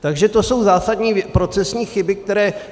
Takže to jsou zásadní procesní chyby, které...